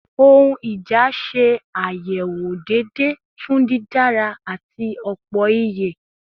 Ohun ija ṣe ayewo deede fun didara ati opoiye